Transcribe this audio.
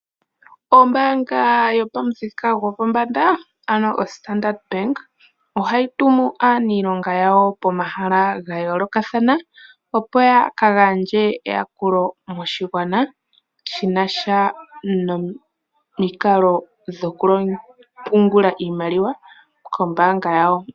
Ombaanga yopamuthika gopombanda ano oStandard ohayi tumu aanilonga yawo pomahala gayoolokathana opo yaka gandje eyakulo moshigwana shinasha nomikalo dhokupungula iimaliwa kombaanga yawo.